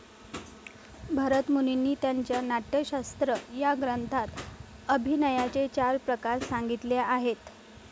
भारतमुनींनी त्यांच्या नाट्यशास्त्र या ग्रंथात अभिनयाचे चार प्रकार संगितले आहेत.